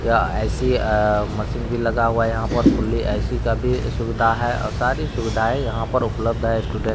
यह ए.सी. मशीन भी लगा हुआ है यहां पर ए.सी. का भी सुविधा है और सारी सुविधाएँ यहां पर उपलब्ध है --